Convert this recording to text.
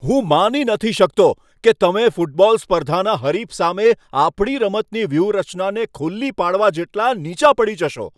હું માની નથી શકતો કે તમે ફૂટબોલ સ્પર્ધાના હરીફ સામે આપણી રમતની વ્યૂહરચનાને ખુલ્લી પાડવા જેટલાં નીચા પડી જશો.